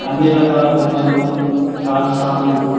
అన్ని రకాల బొమ్మలు గాజు సమన్లు--